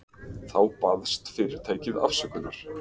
Þá baðst fyrirtækið afsökunar